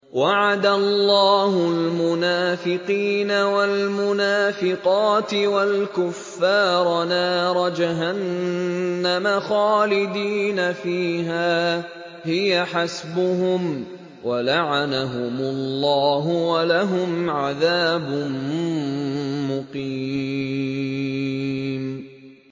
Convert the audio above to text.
وَعَدَ اللَّهُ الْمُنَافِقِينَ وَالْمُنَافِقَاتِ وَالْكُفَّارَ نَارَ جَهَنَّمَ خَالِدِينَ فِيهَا ۚ هِيَ حَسْبُهُمْ ۚ وَلَعَنَهُمُ اللَّهُ ۖ وَلَهُمْ عَذَابٌ مُّقِيمٌ